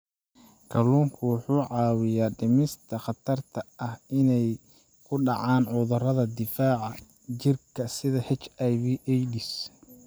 Kalluunku wuxuu caawiyaa dhimista khatarta ah inay ku dhacaan cudurrada difaaca jirka sida HIV/AIDS.